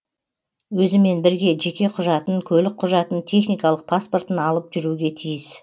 өзімен бірге жеке құжатын көлік құжатын техникалық паспортын алып жүруге тиіс